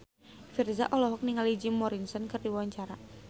Virzha olohok ningali Jim Morrison keur diwawancara